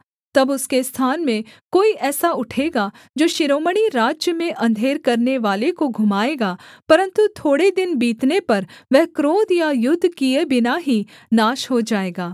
तब उसके स्थान में कोई ऐसा उठेगा जो शिरोमणि राज्य में अंधेर करनेवाले को घुमाएगा परन्तु थोड़े दिन बीतने पर वह क्रोध या युद्ध किए बिना ही नाश हो जाएगा